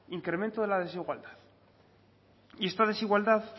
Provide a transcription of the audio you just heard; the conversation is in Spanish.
incremento de la desigualdad y esta desigualdad